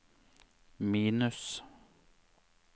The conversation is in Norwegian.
minus